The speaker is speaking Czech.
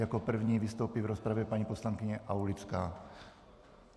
Jako první vystoupí v rozpravě paní poslankyně Aulická.